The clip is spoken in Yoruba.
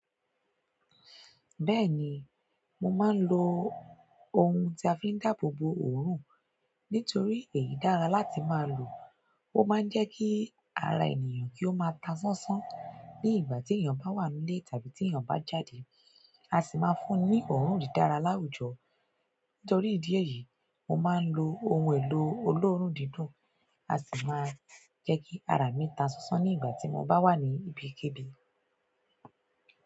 Bẹ́ẹ̀ni, mo máa ń lo ohun tí a fi ń dáàbò bo òórùn nítorí èyí dára láti máa lò, ó máa ń jẹ́ kí ara ènìyàn kí ó máa ta sánsán ní ìgbà tí èèyàn bá wà nílé tàbí tí èèyàn bá jáde, a sì máa ń fún un ní òórùn dídára láwùjọ. Nítorí ìdí èyí, mo máa ń lo ohun èlò olóòórùn dídùn a sì máa ń jẹ́ kí ara mi ta sánsán ní ìgbà tí mo bá wà ní ibikíbi.